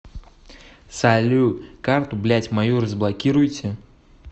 салют карту блять мою разблокируйте